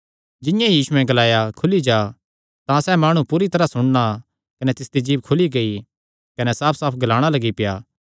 जिंआं ई यीशुयैं ग्लाया खुली जा तां सैह़ माणु पूरी तरांह सुणना कने तिसदी जीभ खुली गेई कने साफसाफ ग्लाणा लग्गी पेआ